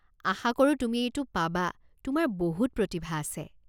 আশা কৰোঁ তুমি এইটো পাবা, তোমাৰ বহুত প্ৰতিভা আছে।